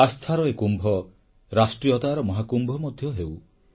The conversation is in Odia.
ଆସ୍ଥାର ଏ କୁମ୍ଭ ରାଷ୍ଟ୍ରୀୟତାର ମହାକୁମ୍ଭ ହେଉ